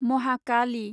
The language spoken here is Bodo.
महाकालि